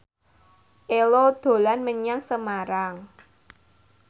Ello dolan menyang Semarang